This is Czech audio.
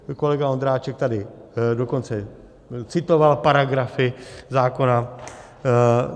Kolega Ondráček tady dokonce citoval paragrafy zákona.